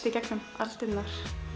í gegnum aldirnar